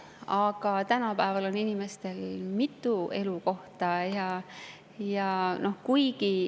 Aga tänapäeval on inimestel mitu elukohta.